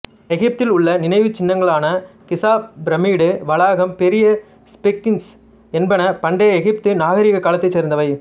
எகிப்தில் உள்ள நினைவுச் சின்னங்களான கிசா பிரமிடு வளாகம் பெரிய ஸ்பிங்க்ஸ் என்பன பண்டை எகிப்து நாகரிகக் காலத்தைச் சேர்ந்தவை